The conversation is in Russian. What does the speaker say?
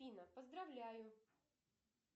афина поздравляю